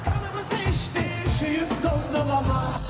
Nəğməmizi eşitdi, şüur dondu qəlbimə.